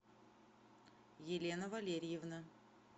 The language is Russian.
елена валерьевна